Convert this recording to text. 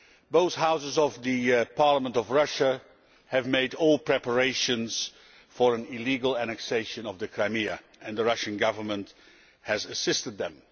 Both Houses of the Parliament of Russia have made all preparations for an illegal annexation of the Crimea, and the Russian Government has assisted them.